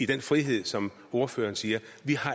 den frihed som ordføreren siger